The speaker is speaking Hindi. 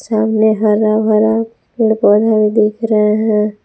सामने हरा भरा पेड़ पौधा भी दिख रहे हैं।